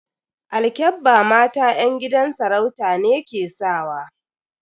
Alkyabba mata yan gidan sarauta ne ke sakawa.